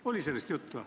Kas oli sellest juttu?